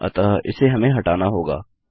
अतः इसे हमें हटाना होगा